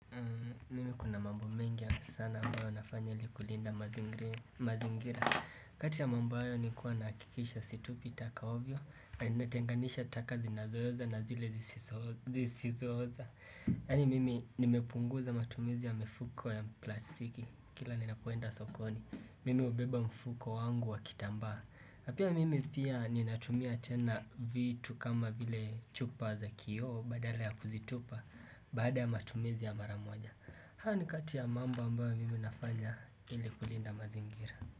Mimi kuna mambo mengi sana ambayo nafanya ili kulinda mazingira kati ya mambo hayo ni kuwa nakikisha situpi taka ovyo na natenganisha taka zinazooza na zile zisizooza Yani mimi nimepunguza matumizi ya mifuko ya plastiki Kila ni napoenda sokoni Mimi ubeba mfuko wangu wakitambaa pia mimi pia ninatumia tena vitu kama vile chupa za kioo badala ya kuzitupa Baada ya matumizi ya maramoja haya ni kati ya mambo ambayo mimi nafanya ili kulinda mazingira.